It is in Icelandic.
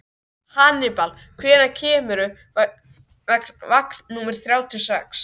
Hannibal, hvenær kemur vagn númer þrjátíu og sex?